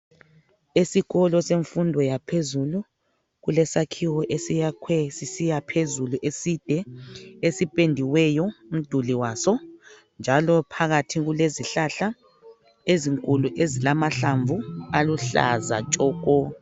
Esikolo semfundo yaphezulu kulesakhiwo esiyakhwe sisiya phezulu eside esipendiweyo umduli waso njalo phakathi kulezihlahla ezinkulu ezilamahlamvu aluhlaza tshoko.